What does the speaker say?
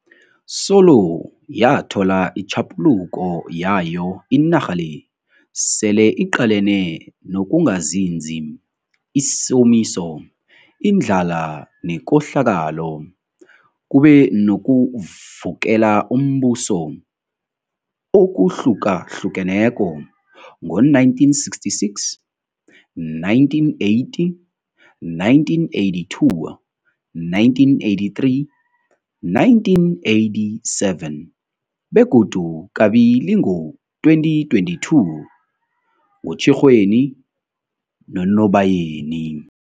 Solo yathola itjhaphuluko yayo, inarha le sele iqalene nokungazinzi, isomiso, indlala nekohlakalo. Kube nokuvukela umbuso okuhlukahlukeneko, ngo-1966, 1980, 1982, 1983, 1987, begodu kabili ngo-2022, ngoTjhirhweni noNobayeni.